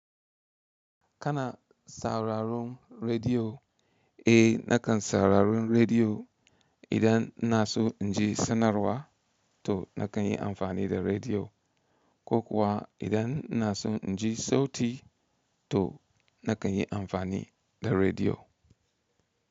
Kana sauraron rediyo? Eh nakan sauraron rediyo. Idan ina so in ji sanarwa to na kan yi amfani da rediyo. Ko kuwa idan ina son in ji sauti to na kan yi amfani da rediyo.